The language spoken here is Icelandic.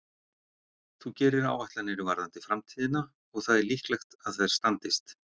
Þú gerir áætlanir varðandi framtíðina og það er líklegt að þær standist.